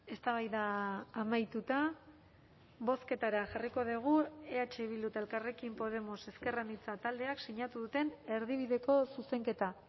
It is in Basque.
eztabaida amaituta bozketara jarriko dugu eh bildu eta elkarrekin podemos ezker anitza taldeak sinatu duten erdibideko zuzenketa